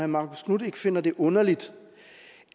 marcus knuth ikke finder det underligt